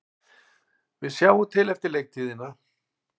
Við sjáum til eftir leiktíðina,